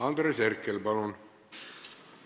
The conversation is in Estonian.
Andres Herkel, palun!